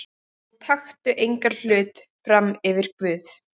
Og taktu engan hlut frammyfir Guð.